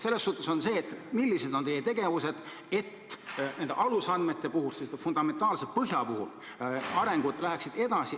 Nii et millised on teie tegevused, et nende alusandmete, selle fundamentaalse põhja puhul läheks areng edasi?